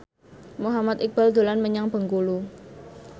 Muhammad Iqbal dolan menyang Bengkulu